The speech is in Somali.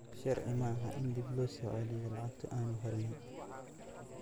Sharci maaha in dib loo soo celiyo lacagtii aanu helnay.